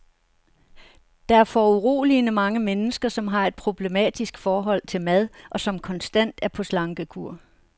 Der er foruroligende mange mennesker, som har et problematisk forhold til mad, og som konstant er på slankekur.